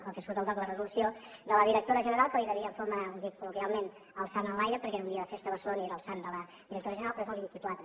el que surt al dogc la resolució de la directora general que li devien fúmer ho dic col·loquialment el sant enlaire perquè era un dia de festa a barcelona i era el sant de la directora general però és el vint quatre